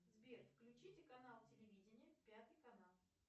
сбер включите канал телевидения пятый канал